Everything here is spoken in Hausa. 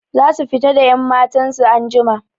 Zasu fita da 'yammatan su anjima.